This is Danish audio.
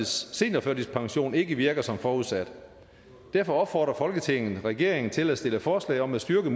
seniorførtidspensionen ikke virker som forudsat derfor opfordrer folketinget regeringen til at stille forslag om at styrke